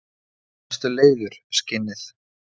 Varstu leiður, skinnið?